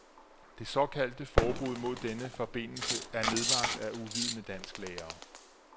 Det såkaldte forbud mod denne forbidelse er nedlagt af uvidende dansklærere.